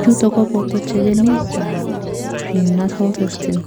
chuton koboto checkenet ak prenatal testing